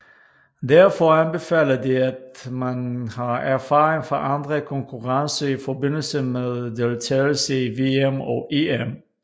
Derfor anbefaler det at man har erfaring fra andre konkurrencer i forbindelse med deltagelse i VM og EM